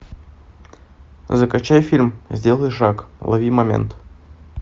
закачай фильм сделай шаг лови момент